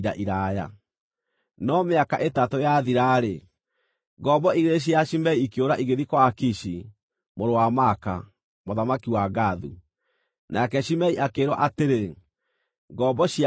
No mĩaka ĩtatũ yathira-rĩ, ngombo igĩrĩ cia Shimei ikĩũra igĩthiĩ kwa Akishi, mũrũ wa Maaka, mũthamaki wa Gathu, nake Shimei akĩĩrwo atĩrĩ, “Ngombo ciaku irĩ Gathu.”